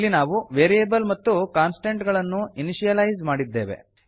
ಇಲ್ಲಿ ನಾವು ವೇರಿಯೇಬಲ್ ಮತ್ತು ಕಾನ್ಸ್ಟಂಟ್ ಗಳನ್ನು ಇನಿಶಿಯಲೈಜ್ ಮಾಡಿದ್ದೇವೆ